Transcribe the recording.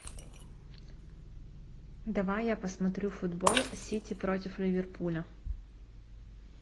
давай я посмотрю футбол сити против ливерпуля